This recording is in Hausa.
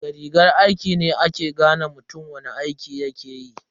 Da rigar aiki ne ake gane mutum wani aiki yakeyi.